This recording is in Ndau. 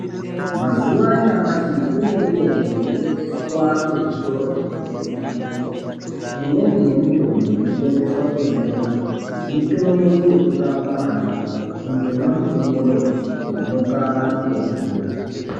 Mazuwa anyamashi kune mitombo inotengeswa kuzvitoro zvinotengesa mitombo. Imweni yemitombo inotengeswa kona iyoyo mitombo yekurapa manyoka kundomwa mitombo yo manyoka anotomira.